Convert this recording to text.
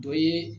Dɔ ye